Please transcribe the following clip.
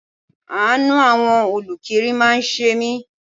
Àánú àwọn olukiri máa ń ṣe mí.